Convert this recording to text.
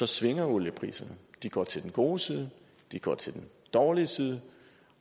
svinger oliepriserne de går til den gode side de går til den dårlige side